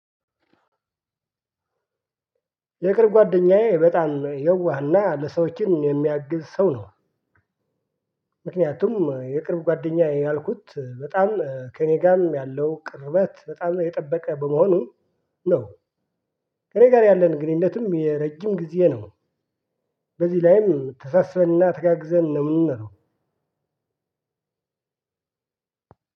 የቅርብ ጓደኛዬ በጣም የዋህና ለሰዎችም የሚያግዝ ሰው ነው። ምክንያቱም የቅርብ ጓደኛዬ ያልኩት በጣም ከእኔ ጋርም ያለው ቅርበት በጣም የጠበቀ በመሆኑ ነው። ከእኔ ጋር ያለን ግንኙነትን የረጅም ጊዜ ነው። በዚህ ላይም ተሳስበንና ተጋግዘን ነው።